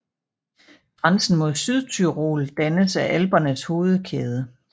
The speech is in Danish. Grænsen mod Sydtyrol dannes af Alpernes hovedkæde